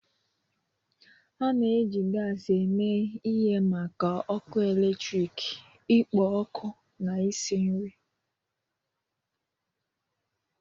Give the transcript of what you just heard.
A na-eji gas eme ihe maka ọkụ eletrik, ikpo ọkụ, na isi nri.